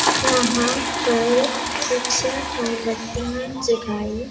यहां पर कुछ मोमबत्तियां जगाई--